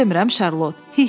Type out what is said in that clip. Düz demirəm, Şarlot?